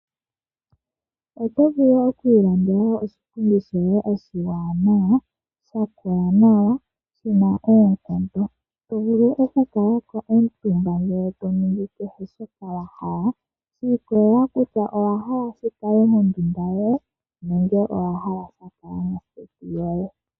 Otovulu okwiilandela oshipundi shoye oshiwanawa shakola nawa, shina oonkondo tovulu okukalako omutumba ,ndee toningi kehe shoka wahala, shiikolela kutya owahala shikale mondunda yoye nenge owahala shakala moseti yoye.